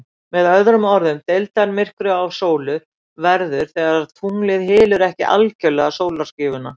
Með öðrum orðum, deildarmyrkvar á sólu verða þegar tunglið hylur ekki algjörlega sólskífuna.